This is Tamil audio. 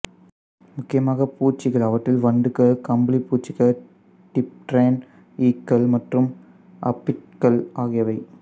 முக்கியமாக பூச்சிகள் அவற்றில் வண்டுகள் கம்பளிப்பூச்சிகள் டிப்டெரன் ஈக்கள் மற்றும் அபிட்கள் ஆகியவை